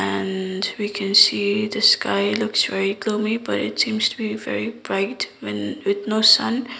and we can see the sky looks very gloomy but it seems to be very bright when with no sun.